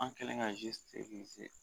An kɛlen ka